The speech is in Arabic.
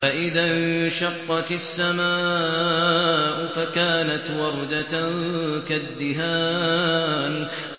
فَإِذَا انشَقَّتِ السَّمَاءُ فَكَانَتْ وَرْدَةً كَالدِّهَانِ